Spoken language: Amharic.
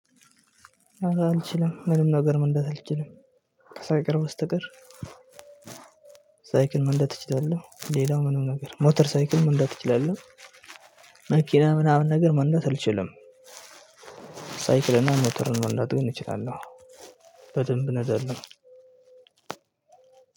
አልችልም ምንም ነገር መንዳት አልችልም። ከሳይክል በስተቀር ሳይክል መንዳት እችላለው። ሌላው ምምን ነገር ሞተር ሳይክል መንዳት እችላለሁ። መኪና ምናምን ነገር መንዳት አልችልም። ሳይክልና ሞተርን መንዳት ግን እንችላለሁ። በደንብ እንዳለሁ